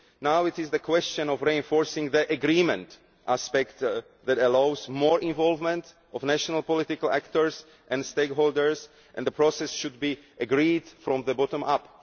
Now it is a question of reinforcing the agreement aspect that allows more involvement by national political actors and stakeholders, and the process should be agreed from the bottom up.